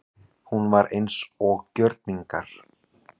Hún var eins og gjörningar.